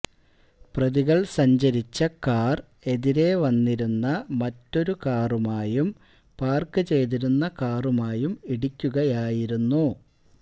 പ്രതികൾ സഞ്ചരിച്ച കാർ എതിരേ വന്നിരുന്ന മറ്റൊരു കാറുമായും പാർക്ക് ചെയ്തിരുന്ന കാറുമായും ഇടിക്കുകയായിരുന്നു